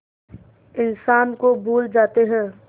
इंसान को भूल जाते हैं